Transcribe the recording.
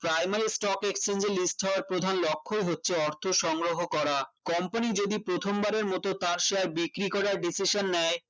primary stock exchange এর list হওয়ার প্রধান লক্ষই হচ্ছে অর্থ সংগ্রহ করা company যদি প্রথমবারের মতো তার share বিক্রি করে আর decession নেয়